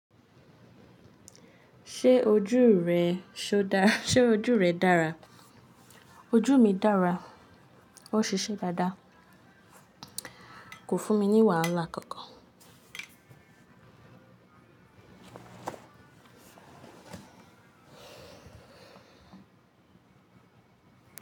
Ṣé ojú rẹ, ṣé ojú rẹ dára? Ojú mi dára, ó ṣiṣẹ́ dáadáa. Kò fún mi ní wàhálà kankan.